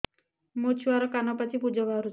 ମୋ ଛୁଆର କାନ ପାଚି ପୁଜ ବାହାରୁଛି